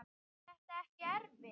Var þetta ekki erfitt?